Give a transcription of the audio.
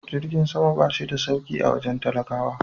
Jirgin sama ba shi da sauki a wajen talakawa.